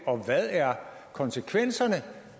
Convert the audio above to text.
og hvad er konsekvenserne